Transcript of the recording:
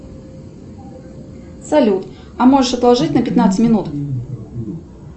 салют а можешь отложить на пятнадцать минут